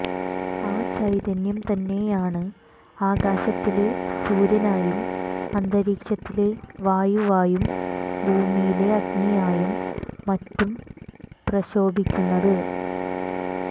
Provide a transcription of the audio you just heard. ആ ചൈതന്യം തന്നെയാണ് ആകാശത്തിലെ സൂര്യനായും അന്തരീക്ഷത്തിലെ വായുവായും ഭൂമിയിലെ അഗ്നിയായും മറ്റും പ്രശോഭിക്കുന്നത്